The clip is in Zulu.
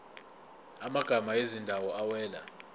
amagama ezindawo awela